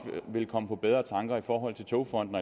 vil komme på bedre tanker i forhold til togfonden